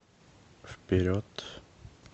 вперед